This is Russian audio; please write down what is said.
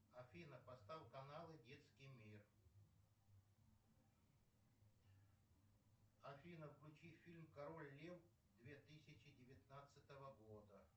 афина поставь каналы детский мир афина включи фильм король лев две тысячи девятнадцатого года